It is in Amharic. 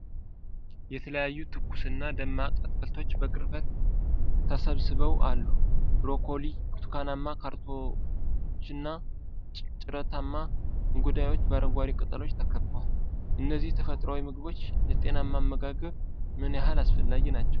የተለያዩ ትኩስና ደማቅ አትክልቶች በቅርበት ተሰባስበው አሉ፤ ብሮኮሊ፣ ብርቱካናማ ካሮቶችና ጭረታማ እንጉዳዮች በአረንጓዴ ቅጠሎች ተከበዋል። እነዚህ ተፈጥሯዊ ምግቦች ለጤናማ አመጋገብ ምን ያህል አስፈላጊ ናቸው?